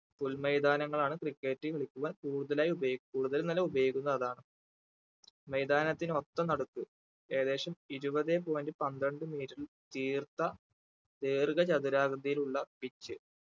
പുൽ മൈതാനങ്ങളാണ് cricket കളിക്കുവാൻ കൂടുതലായി ഉപയോഗിക് കൂടുതൽ അല്ല ഉപയോഗിക്കുന്നത് അതാണ് മൈതാനത്തിന്റെ ഒത്ത നടുക്ക് ഏകദേശം ഇരുപതെ point പന്ത്രണ്ട് meter തീർത്ത ദീർഘ ചതുരാകൃതിയിൽ ഉള്ള pitch